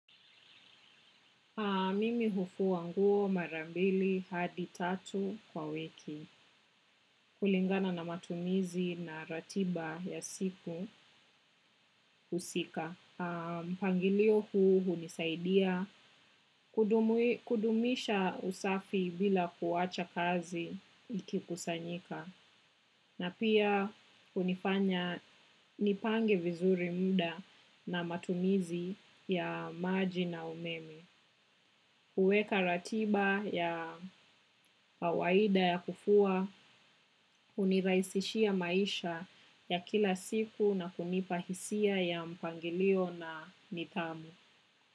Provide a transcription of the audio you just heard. Mimi hufua nguo mara mbili hadi tatu kwa wiki kulingana na matumizi na ratiba ya siku husika. mpangilio huu hunisaidia kudumisha usafi bila kuwacha kazi ikikusanyika. Na pia hunifanya nipange vizuri muda na matumizi ya maji na umeme. Kuweka ratiba ya kawaida ya kufua, hunirahisishia maisha ya kila siku na kunipa hisia ya mpangilio na nidhamu.